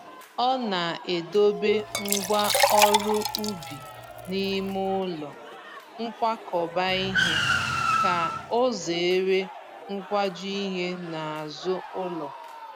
Ọ na-edobe ngwa ọrụ ubi n’ime ụlọ nkwakọba ihe ka ozere nkwaju ihe n'azụ ụlọ